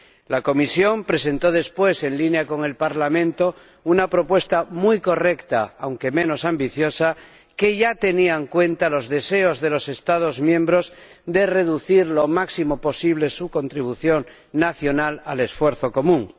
La Comisión presentó después, en línea con el Parlamento, una propuesta muy correcta, aunque menos ambiciosa, que ya tenía en cuenta los deseos de los Estados miembros de reducir lo máximo posible su contribución nacional al esfuerzo común.